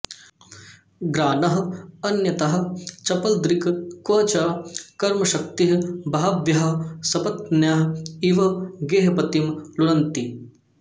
ग्राणः अन्यतः चपलदृक् क्व च कर्मशक्तिः बह्व्यः सपत्न्यः इव गेहपतिं लुनन्ति